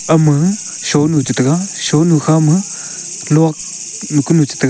ama sonu chi tega aonu kha ma luknu kunu chi tega.